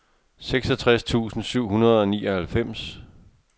seksogtres tusind syv hundrede og nioghalvfems